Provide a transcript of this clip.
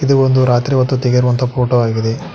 ಇದು ಒಂದು ರಾತ್ರಿ ಹೊತ್ತು ತೆಗೆದಿರುವ ಫೋಟೋ ಆಗಿದೆ.